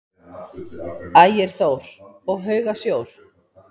Ægir Þór: Og hauga sjór?